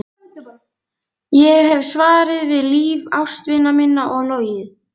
Ég hef svarið við líf ástvina minna og logið.